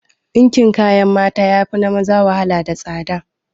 Dinkin kayan mata yafi na maza wahala da tsada